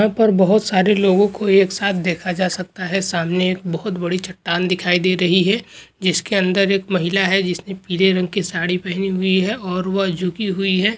इहा पर बहुत सारे लोगों को एक साथ देखा जा सकता है सामने एक बहुत बड़ी चट्टान दिखाई दे रही है जिसके अंदर एक महिला है जिसने पीले रंग की साड़ी पहनी हुई है और वह झुकी हुई है।